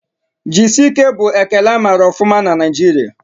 Jisike' bụ ekele amara ọfụma na Naijiria